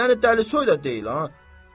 Yəni dəlisoy da deyil ha.